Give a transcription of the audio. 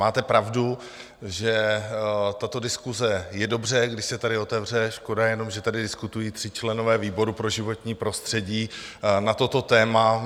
Máte pravdu, že tato diskuse je dobře, když se tady otevře, škoda jenom, že tady diskutují tři členové výrobu pro životní prostředí na toto téma.